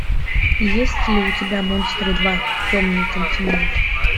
есть ли у тебя монстры два темный континент